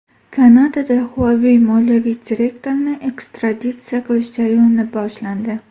Kanadada Huawei moliyaviy direktorini ekstraditsiya qilish jarayoni boshlandi.